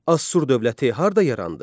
Assur dövləti harda yarandı?